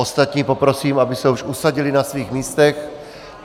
Ostatní poprosím, aby se už usadili na svých místech.